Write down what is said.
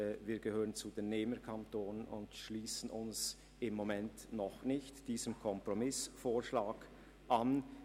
Wir gehören zu den Nehmerkantonen und schliessen uns vorläufig noch nicht dem Kompromissvorschlag an.